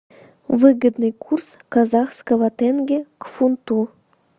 выгодный курс казахского тенге к фунту